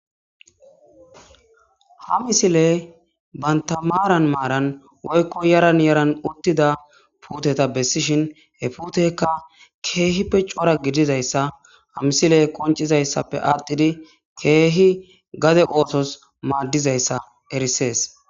ha misiley banta maaran maaran woykko yaran yaran uttida puuteta bessishin he puutekka keehippe cora gidizayssa ha misile koncizayssappe aaddhidi keehi gade ootos maaddizayssa erisees